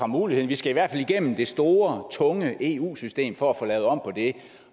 mulighed vi skal i hvert fald igennem det store tunge eu system for at få lavet om